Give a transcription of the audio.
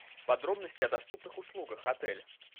подробности о доступных услугах отеля